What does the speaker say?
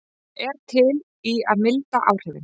Er til í að milda áhrifin